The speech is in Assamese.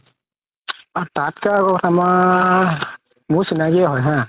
তাতকে আৰু এটা অমাৰ মোৰ চিনাকিয়ে হয় হা